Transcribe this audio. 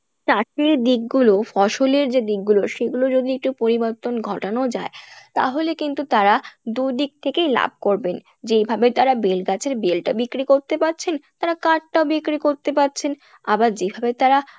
দিকগুলো ফসলের যে দিকগুলো সেগুলো যদি একটু পরিবর্তন ঘটানো যায় তাহলে কিন্তু তারা দু-দিক থেকেই লাভ করবেন যেইভাবে তারা বেল গাছের বেলটা বিক্রি করতে পারছেন তারা কাঠটাও বিক্রি করতে পারছেন আবার যেইভাবে তারা